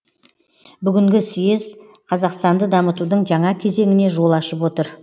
бүгінгі съез қазақстанды дамытудың жаңа кезеңіне жол ашып отыр